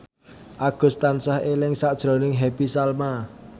Agus tansah eling sakjroning Happy Salma